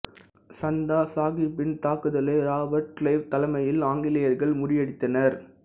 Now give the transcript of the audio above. சந்தா சாகிப்பின் தாக்குதலை இராபர்ட் கிளைவ் தலைமையில் ஆங்கிலேயர்கள் முறியடித்தனர்